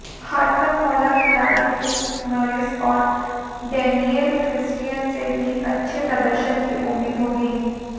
हरफनमौला खिलाड़ी Chris Morris और Daniel Christian से भी अच्छे प्रदर्शन की उम्मीद होगी